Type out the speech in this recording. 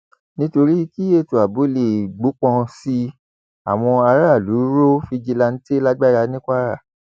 nítorí kí ètò ààbò lè gbópọn sí i àwọn aráàlú rọ fìjìláǹtẹ lágbára ní kwara